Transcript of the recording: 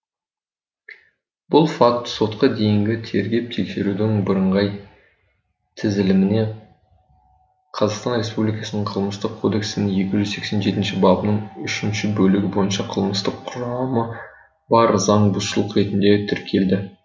бұл факт сотқа дейінгі тергеп тексерудің бірыңғай тізіліміне қазақстан республикасының қылмыстық кодексінің екі жүз сексен жетінші бабының үшінші бөлігі бойынша қылмыстық құрамы бар заңбұзушылық ретінде тіркелді